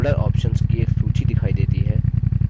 folder options की एक सूची दिखाई देती है